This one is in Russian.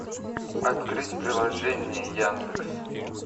открыть приложение яндекс